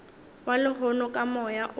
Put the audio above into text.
wa lehono ka moya o